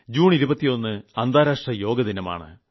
June 21 അന്താരാഷ്ട്ര യോഗാ ദിനമാണ്